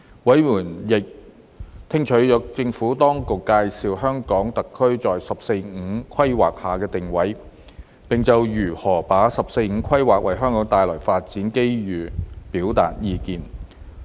委員亦聽取了政府當局介紹香港特區在"十四五"規劃下的定位，並就如何把握"十四五"規劃為香港帶來的發展機遇表達意見。